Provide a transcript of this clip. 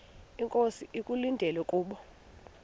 inkosi ekulindele kubo